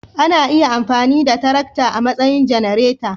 Ana iya amfani da tarakta a matsayin janareta